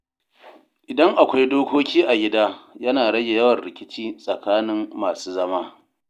Idan akwai dokoki a gida, yana rage yawan rikici tsakanin masu zama.